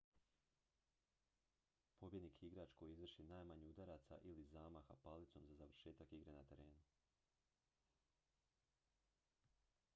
pobjednik je igrač koji izvrši najmanje udaraca ili zamaha palicom za završetak igre na terenu